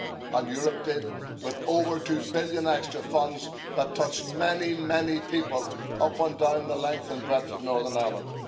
And Europe did, with over 2 billion extra funds that touched many people up and down the length and breadth of Northern Ireland.